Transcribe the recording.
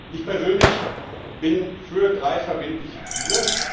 Ich persönlich bin für drei verbindliche Ziele.